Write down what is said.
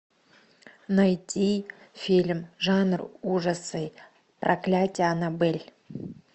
найти фильм жанр ужасы проклятие аннабель